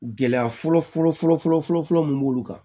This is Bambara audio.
Gɛlɛya fɔlɔ fɔlɔ fɔlɔ fɔlɔ fɔlɔ mun b'olu kan